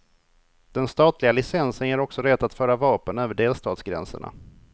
Den statliga licensen ger också rätt att föra vapen över delstatsgränserna.